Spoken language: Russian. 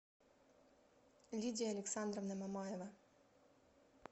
лидия александровна мамаева